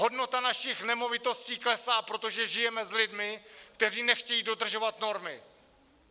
Hodnota našich nemovitostí klesá, protože žijeme s lidmi, kteří nechtějí dodržovat normy.